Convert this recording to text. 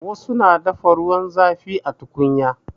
Wasu na dafa ruwan zafi da tukunya.